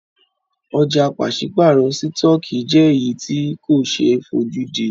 Ọ̀jà pàṣípàrọ̀ sítọ̀kì jẹ́ èyí tí ko ṣe é fojúdí.